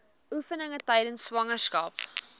oefeninge tydens swangerskap